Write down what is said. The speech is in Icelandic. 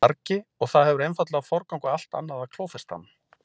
vargi og það hefur einfaldlega forgang á allt annað að klófesta hann.